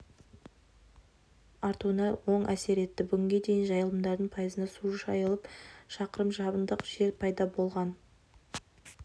артуына оң әсер етті бүгінге дейін жайылымдардың пайызына су жайылып шақырым шабындық жер пайда болған